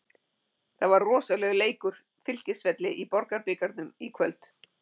Það var rosalegur leikur Fylkisvelli í Borgunarbikarnum í kvöld.